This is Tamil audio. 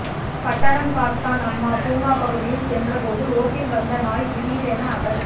பட்டணம்காத்தான் அம்மா பூங்கா பகுதியில் சென்ற போது ரோட்டில் வந்த நாய் திடீரென அவர்